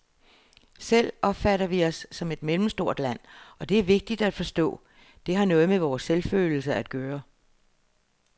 Selv opfatter vi os som et mellemstort land, og det er vigtigt at forstå, det har noget med vores selvfølelse at gøre.